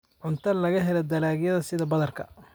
Cunto laga helo dalagyada sida badarka.